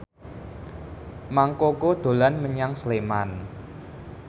Mang Koko dolan menyang Sleman